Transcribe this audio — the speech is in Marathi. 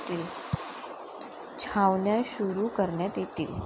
छावण्या सुरु करण्यात येतील.